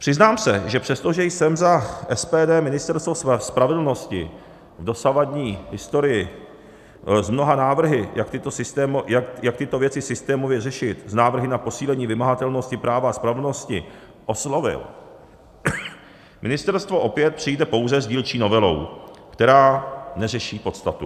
Přiznám se, že přestože jsem za SPD Ministerstvo spravedlnosti v dosavadní historii s mnoha návrhy, jak tyto věci systémově řešit, s návrhy na posílení vymahatelnosti práva a spravedlnosti oslovil, ministerstvo opět přijde pouze s dílčí novelou, která neřeší podstatu.